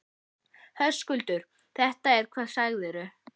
Höskuldur: Þetta er hvað segirðu?